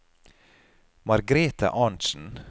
Margrete Arntzen